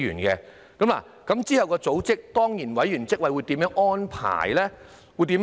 之後這個組織的當然委員會如何安排呢？